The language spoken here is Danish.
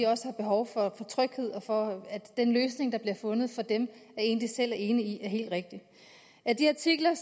også har behov for tryghed og at den løsning der bliver fundet for dem er en de selv er enige i er helt rigtig i de artikler